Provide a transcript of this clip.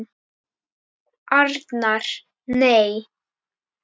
Arnar: Nei.